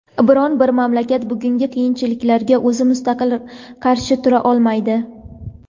biron bir mamlakat bugungi qiyinchiliklarga o‘zi mustaqil qarshi tura olmaydi.